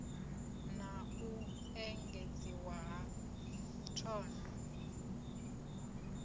na u engedziwa ha thondo